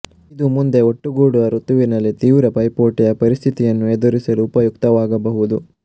ಇದು ಮುಂದೆ ಒಟ್ಟುಗೂಡುವ ಋತುವಿನಲ್ಲಿ ತೀವ್ರ ಪೈಪೋಟಿಯ ಪರಿಸ್ಥಿತಿಯನ್ನು ಎದುರಿಸಲು ಉಪಯುಕ್ತವಾಗಬಹುದು